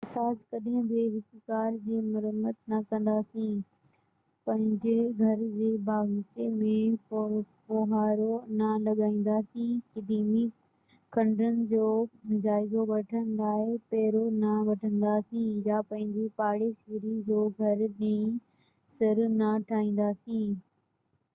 اساس ڪڏهن بہ هڪ ڪار جي مرمت نہ ڪنداسين پنهنجي گهر جي باغيچي ۾ ڦوهارو نہ لڳائينداسين قديمي کنڊرن جو جائزو وٺڻ لاءِ پيرو نہ وينداسين يا پنهنجي پاڙيسري جو گهر نئين سر نہ ٺاهينداسين